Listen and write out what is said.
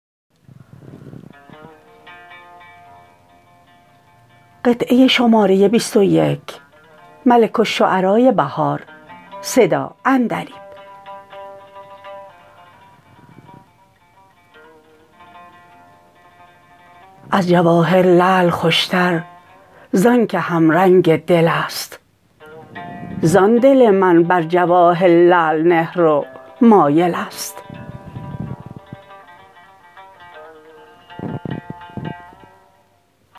ازجواهر لعل خوش تر زان که همرنگ دل است زان دل من بر جواهر لعل نهرو مایل است